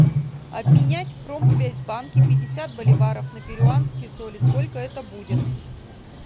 обменять в промсвязьбанке пятьдесят боливаров на перуанские соли сколько это будет